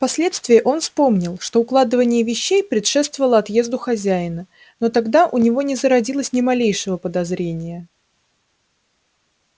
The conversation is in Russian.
впоследствии он вспомнил что укладывание вещей предшествовало отъезду хозяина но тогда у него не зародилось ни малейшего подозрения